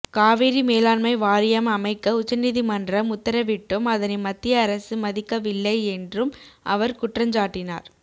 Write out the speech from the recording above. காவிரி மேலாண்மை வாரியம் அமைக்க உச்சநீதிமன்றம் உத்தரவிட்டும் அதனை மத்திய அரசு மதிக்கவில்லை என்றும் அவர் குற்றஞ்சாட்டினார்